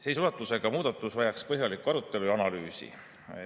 Sellise ulatusega muudatus vajaks põhjalikku arutelu ja analüüsi.